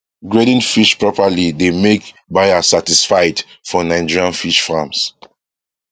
grading fish properly dey make buyer satisfied for nigerian fish farms